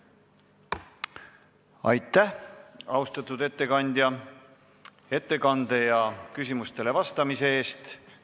Aitäh, austatud ettekandja, ettekande ja küsimustele vastamise eest!